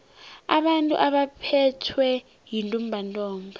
abantu abaphethwe yintumbantonga